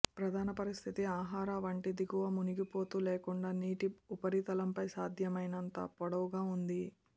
ప్రధాన పరిస్థితి ఆహార వంటి దిగువ మునిగిపోతూ లేకుండా నీటి ఉపరితలంపై సాధ్యమైనంత పొడవుగా ఉంది